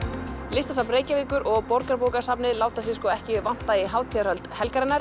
listasafn Reykjavíkur og Borgarbókasafnið láta sig sko ekki vanta í hátíðarhöldin